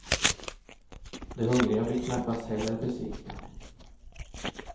De hungriga blir knappast heller besvikna.